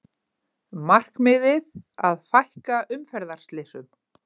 Markmiðið að fækka umferðarslysum